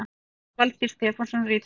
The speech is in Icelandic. Valtýr Stefánsson ritstjóri